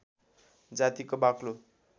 जातिको बाक्लो